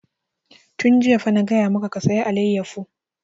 Tun jiya fa na gaya maka ka saya alayyafo!